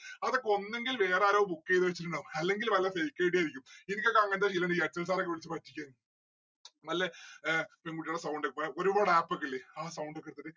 അതൊക്കെ ഒന്നുങ്കിൽ വേറാരോ book എയ്ത വെച്ചിട്ടിണ്ടാവും അല്ലെങ്കിൽ വല്ല fake ആയിരിക്കും എനിക്കൊക്കെ അങ്ങനത്തെ എന്തെങ്കിലു ഇണ്ടെങ്കിൽ അക്ഷയ് sir ഒക്കെ വിളിച്ച് പറ്റിച്ചേന്. നല്ല ഏർ പെൺകുട്ടികളെ sound ഇപ്പോഴ് ഒരുപാട് app ഒക്കെ ഇല്ലേ ആ sound ഒക്കെ എടുത്തിട്ട്